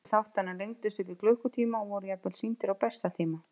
Sumir þáttanna lengdust upp í klukkutíma og voru jafnvel sýndir á besta tíma.